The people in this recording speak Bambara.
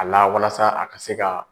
A lawalasa a ka se ka